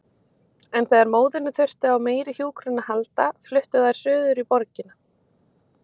En þegar móðirin þurfti á meiri hjúkrun að halda fluttu þær suður í borgina.